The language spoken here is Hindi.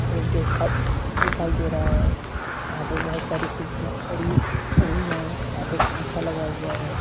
गेस्ट हाउस दिखाई दे रहा है जहां पे बहुत सारी कुर्सियां पड़ी हुई है यहां पे एक पंखा लगा हुआ है।